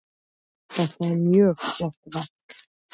Þetta er mjög flott verk.